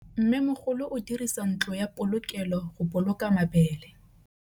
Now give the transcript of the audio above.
Mmêmogolô o dirisa ntlo ya polokêlô, go boloka mabele.